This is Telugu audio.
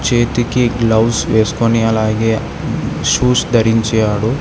చేతికి గ్లోస్ వేసుకుని అలాగే షూస్ ధరించాడు.